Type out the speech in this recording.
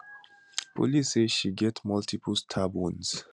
police say she get multiple stab wounds